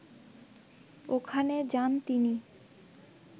ওখানে যান তিনি